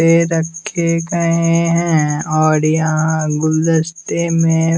पे रखे गए हैं और यहाँ गुलदस्ते में--